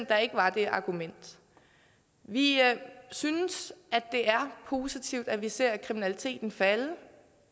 der ikke var det argument vi synes at det er positivt at vi ser kriminaliteten falde